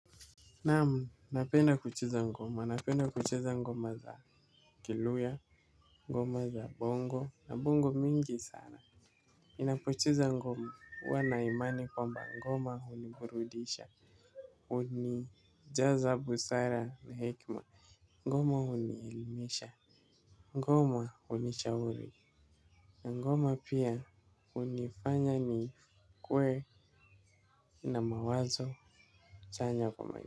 Naamu, napenda kucheza ngoma, napenda kucheza ngoma za kiluya, ngoma za bongo, na bongo mingi sana. Ninapocheza ngoma huwa na imani kwamba ngoma huniburudisha, hunijaza busara na hekima, ngoma hunielimisha, ngoma hunishauri. Na ngoma pia hunifanya nikuwe na mawazo chanya kwa maisha.